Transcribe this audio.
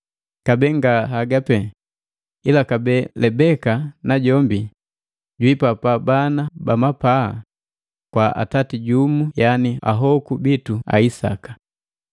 Kabee nga hagapee, ila kabee Lebeka najombi jwiipata bana bamapaa kwa atati jumu yaani ahoku bitu a Isaka.